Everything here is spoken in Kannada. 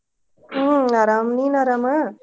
ಹ್ಮ್ ಅರಾಮ್ ನೀನ್ ಅರಾಮಾ?